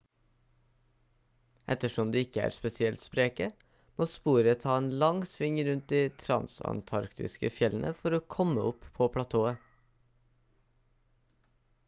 ettersom de ikke er spesielt spreke må sporet ta en lang sving rundt de transantarktiske fjellene for å komme opp på platået